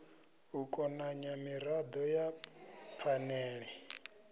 u konanya mirado ya phanele